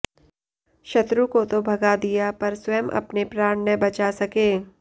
शत्रु को तो भगा दिया पर स्वयं अपने प्राण न बचा सके